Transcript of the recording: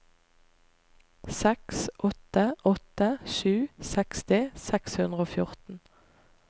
seks åtte åtte sju seksti seks hundre og fjorten